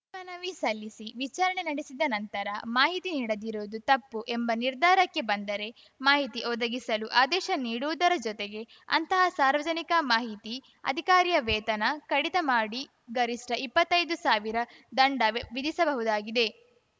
ಮೇಲ್ಮನವಿ ಸಲ್ಲಿಸಿ ವಿಚಾರಣೆ ನಡೆಸಿದ ನಂತರ ಮಾಹಿತಿ ನೀಡದಿರುವುದು ತಪ್ಪು ಎಂಬ ನಿರ್ಧಾರಕ್ಕೆ ಬಂದರೆ ಮಾಹಿತಿ ಒದಗಿಸಲು ಆದೇಶ ನೀಡುವುದರ ಜೊತೆಗೆ ಅಂತಹ ಸಾರ್ವಜನಿಕ ಮಾಹಿತಿ ಅಧಿಕಾರಿಯ ವೇತನ ಕಡಿತ ಮಾಡಿ ಗರಿಷ್ಠ ಇಪ್ಪತ್ತೈದು ಸಾವಿರ ದಂಡ ವಿಧಿಸಬಹುದಾಗಿದೆ